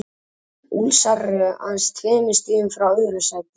Ólsarar eru aðeins tveimur stigum frá öðru sætinu.